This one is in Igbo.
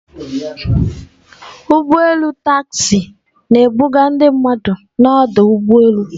Ụgbọ elu Taxi na-ebuga ndị mmadụ n'ọdụ ụgbọ elu.